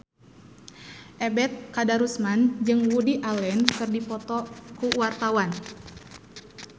Ebet Kadarusman jeung Woody Allen keur dipoto ku wartawan